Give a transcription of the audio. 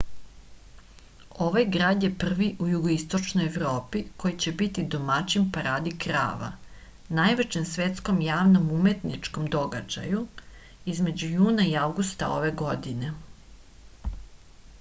ovaj grad je prvi u jugoistočnoj evropi koji će biti domaćin paradi krava najvećem svetskom javnom umetničkom događaju između juna i avgusta ove godine